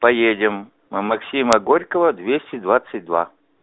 поедем на максима горького двести двадцать два